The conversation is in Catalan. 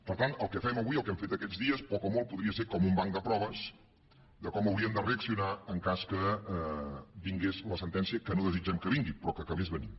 per tant el que fem avui el que hem fet aquests dies poc o molt podria ser com un banc de proves de com hauríem de reaccionar en cas que vingués la sentència que no desitgem que vingui però que acabés venint